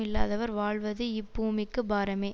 இல்லாதவர் வாழ்வது இப்பூமிக்கு பாரமே